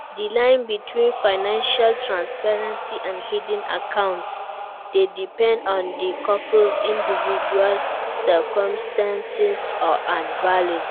Di line between financial transparency and hidden accounts dey depend on di couple's individual circumstances and values.